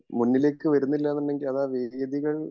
മുന്നിലേക്ക് വരുന്നില്ല എന്നുണ്ടെങ്കിൽ ആ വേദികൾ